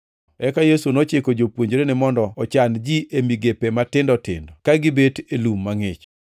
Eka Yesu nochiko jopuonjrene mondo ochan ji e migepe matindo tindo, ka gibet e lum mangʼich.